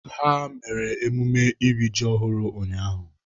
Ha mere emume iri ji ọhụrụ ụnyaahụ.